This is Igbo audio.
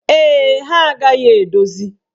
Ee, ha agaghị edozi.